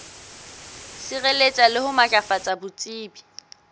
sireletsa le ho matlafatsa botsebi